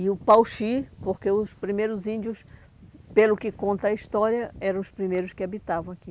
E o Pauxi, porque os primeiros índios, pelo que conta a história, eram os primeiros que habitavam aqui.